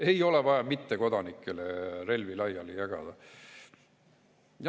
Ei ole vaja mittekodanikele relvi laiali jagada.